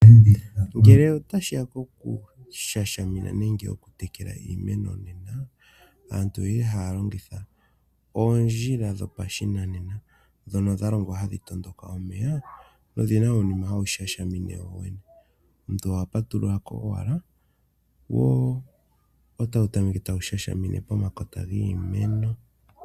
Ngele tashiya pokutekela iimeno, aantu ohaya longitha oondjila dhopashinanena ndhono dha longwa hadhi matuka omeya omuntu ohapatululako owala wo otawu tameke okutekela pomakota giimeno.